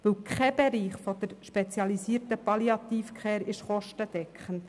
Denn kein Bereich der spezialisierten Palliative Care ist kostendeckend.